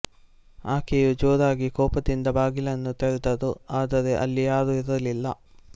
ಆಕೆಯು ಜೋರಾಗಿ ಕೋಪದಿಂದ ಬಾಗಿಲನ್ನು ತೆರೆದರು ಆದರೆ ಅಲ್ಲಿ ಯಾರೂ ಇರಲಿಲ್ಲ